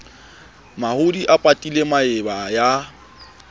mahodi a patile maeba ya